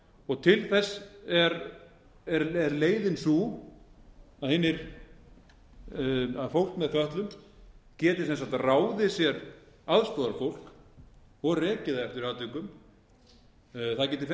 vald til þess er leiðin sú að fólk með fötlun geti ráðið sér aðstoðarfólk og rekið það eftir atvikum